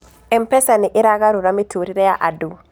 M-PESA nĩ ĩragarũra mĩtũrĩre ya andũ.